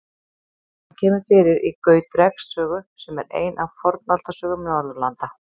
Hann kemur fyrir í Gautreks sögu, sem er ein af Fornaldarsögum Norðurlanda.